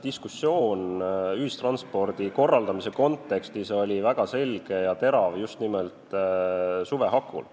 Diskussioon ühistranspordi korraldamise kontekstis oli väga selge ja terav just nimelt suve hakul.